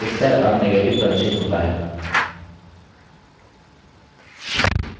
उत्तर अब negative प्रदर्शित होता है